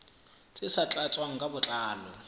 tse sa tlatswang ka botlalo